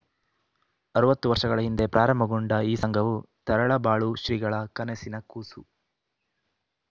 ಅರವತ್ತು ವರ್ಷಗಳ ಹಿಂದೆ ಪ್ರಾರಂಭಗೊಂಡ ಈ ಸಂಘವು ತರಳಬಾಳು ಶ್ರೀಗಳ ಕನಸಿನ ಕೂಸು